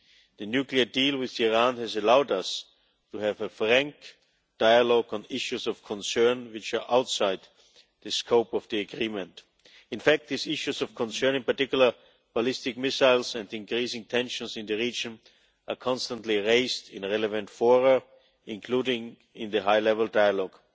The nuclear deal with Iran has allowed us to have a frank dialogue on issues of concern which are outside the scope of the agreement. In fact, these issues of concern, in particular ballistic missiles and increasing tensions in the region, are constantly raised in the relevant fora, including in the high level dialogue.